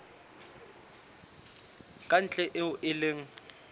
ka ntle eo e leng